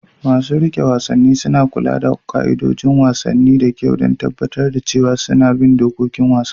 Masu riƙe wasanni suna kula da 'yan wasan da kyau don tabbatar da cewa sun bi ka'idojin wasan.